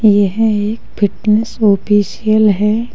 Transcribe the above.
यह एक fitness official है।